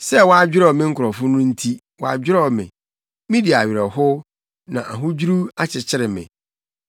Sɛ wɔadwerɛw me nkurɔfo no nti, wɔadwerɛw me; midi awerɛhow, na ahodwiriw akyekyere me.